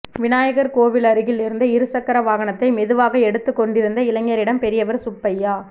விநாயகர் கோவில் அருகில் இருந்த இருசக்கர வாகனத்தை மெதுவாக எடுத்துக் கொண்டிருந்த இளைஞரிடம் பெரியவர் சுப்பையா